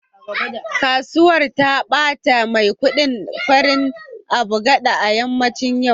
Kasuwar ta bata maikudi farin agbada a yammacin yau